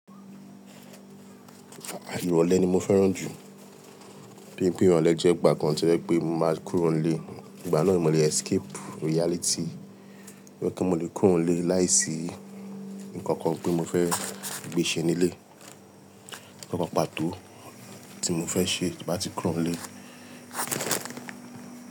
Lrole ni mo fẹ́ràn jù. Bí pé ìrọ̀lẹ́ jẹ́ ìgbà kan to jẹ́ pé mo máa kúrò nílé. Ìgbà náà ni mo le escape reality. Íwé pé mo le kúrò nílé láìsí nkankan pé mo fẹ́ gbe ṣe nílé. Nkan pàtó tí mo fẹ́ ṣe tí mo bá ti kúrò nílé.